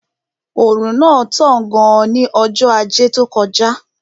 Òrùn náà tán gan ní ọjọ́ ajé tó kọjá